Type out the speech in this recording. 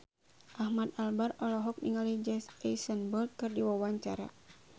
Ahmad Albar olohok ningali Jesse Eisenberg keur diwawancara